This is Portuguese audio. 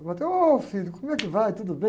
frei, ô filho, como é que vai, tudo bem?